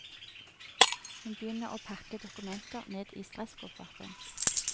Hun begynner å pakke dokumenter ned i stresskofferten.